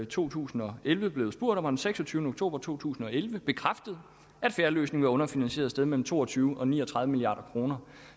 to tusind og elleve blevet spurgt om og den seksogtyvende oktober to tusind og elleve bekræftet at fair løsning var underfinansieret sted mellem to og tyve og ni og tredive milliard kroner